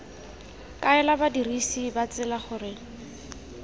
kaela badirisi ba tsela gore